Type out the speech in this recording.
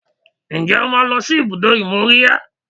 Ǹjẹ́ o máa ń lọ sí ibùdó ìmóríyá?